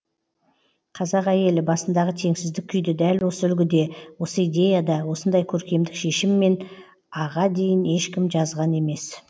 қазақ әйелі басындағы теңсіздік күйді дәл осы үлгіде осы идеяда осындай көркемдік шешіммен а ға дейін ешкім жазған емес